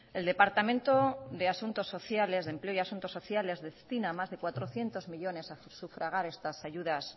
el departamento de empleo y asuntos sociales destina más de cuatrocientos millónes a sufragar estas ayudas